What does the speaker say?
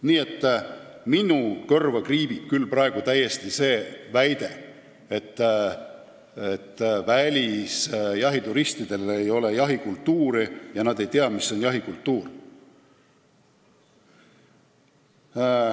Nii et minu kõrva kriibib praegu küll täiesti see väide, et välisjahituristidel ei ole jahikultuuri, nad ei tea, mis on jahikultuur.